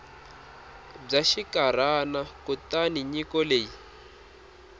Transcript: bya xinkarhana kutani nyiko leyi